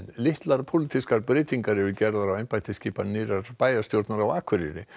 litlar pólitískar breytingar eru gerðar á embættisskipan nýrrar bæjarstjórnar á Akureyri